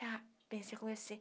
Já pensei conhecer